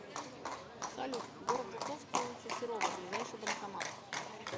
салют город жуковский улица серова ближайший банкомат